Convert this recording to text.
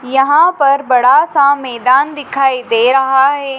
यहां पर बड़ा सा मैदान दिखाई दे रहा है।